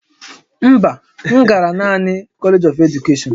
Mba, m gara naanị College of Education